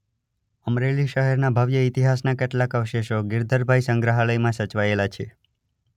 અમરેલી શહેરના ભવ્ય ઇતિહાસના કેટલાક અવશેષો ગિરધરભાઈ સંગ્રહાલયમાં સચવાયેલા છે.